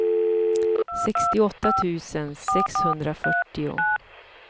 sextioåtta tusen sexhundrafyrtio